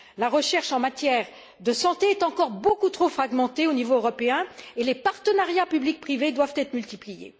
La recherche en matière de santé est encore beaucoup trop fragmentée au niveau européen et les partenariats public privé doivent être multipliés.